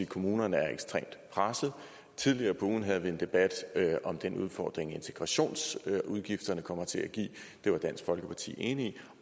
kommunerne er ekstremt pressede tidligere på ugen havde vi en debat om den udfordring integrationsudgifterne kommer til at give det var dansk folkeparti enige i